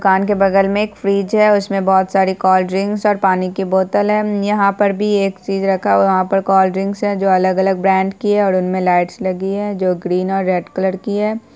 दुकान के बगल में एक फ्रिज है उसमे बहुत सारी कोल्ड्रिंग्स और पानी की बोतल है उम्म यहाँ पर भी एक चीज रखा हुआ वहां पर भी कोल्डड्रिंग्स है जो अगल-अगल ब्रांड्स की है और उनमे लाइट लगी है जो ग्रीन और रेड कलर की है।